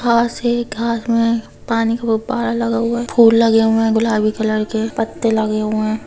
घास है घास में पानी का फूव्वारा लगा हुआ है फुल लगे हुए है गुलाबी कलर के पत्ते लगे हुए है।